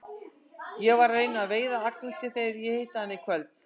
Ég verð að reyna að veiða Agnesi þegar ég hitti hana í kvöld.